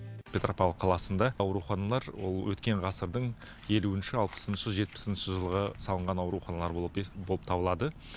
петропавл қаласында ауруханалар ол өткен ғасырдың елуінші алпысыншы жетпісінші жылғы салынған ауруханалар болып болып табылады